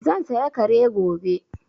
Zan saya Kare gobe